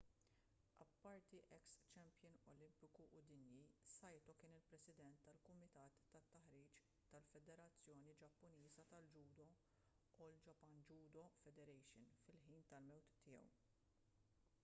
apparti eks-champion olimpiku u dinji saito kien il-president tal-kumitat tat-taħriġ tal-federazzjoni ġappuniża tal-ġudo all japan judo federation fil-ħin tal-mewt tiegħu